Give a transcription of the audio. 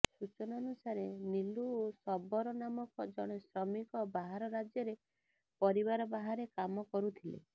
ସୂଚନାନୁସାରେ ନିଲୁ ଶବରନାମକ ଜଣେ ଶ୍ରମିକ ବାହାର ରାଜ୍ୟରେ ପରିବାର ବାହାରେ କାମ କରୁଥିଲେ